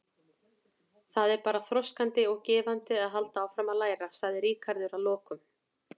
Það er bara þroskandi og gefandi að halda áfram að læra, sagði Ríkharður að lokum.